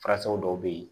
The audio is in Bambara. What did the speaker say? Farasaw dɔw bɛ yen